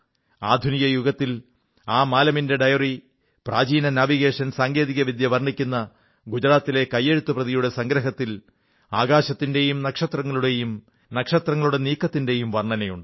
ആധുനിക യുഗത്തിൽ ആ മാലമിന്റെ ഡയറി പ്രാചീന നാവിഗേഷൻ സാങ്കേതികവിദ്യ വർണ്ണിക്കുന്ന ഗുജറാത്തിലെ കൈയെഴുത്തു പ്രതിയുടെ സംഗ്രഹത്തിൽ ആകാശത്തിന്റെയും നക്ഷത്രങ്ങളുടെയും നക്ഷത്രങ്ങളുടെ നീക്കങ്ങളുടെയും വർണ്ണനയുണ്ട്